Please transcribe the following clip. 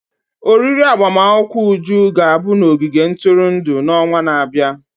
oriri agbamakwụkwọ Uju ga-abụ n'ogige ntụrụndụ n'ọnwa na-abịa.